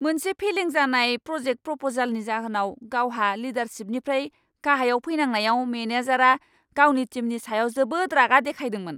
मोनसे फेलें जानाय प्र'जेक प्र'प'जालनि जाहोनाव गावहा लिडारशिपनिफ्राय गाहायाव फैनांनायाव मेनेजारआ गावनि टिमनि सायाव जोबोद रागा देखायदोंमोन।